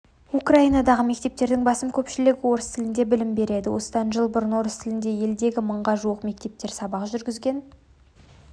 украинадағы мектептердің басым көпшілігі орыс тілінде білім береді осыдан жыл бұрын орыс тілінде елдегі мыңға жуық мектептер сабақ жүргізген